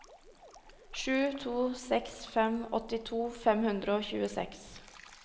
sju to seks fem åttito fem hundre og tjueseks